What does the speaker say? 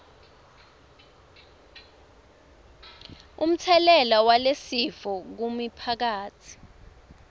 umtselela walesifo kumiphakatsi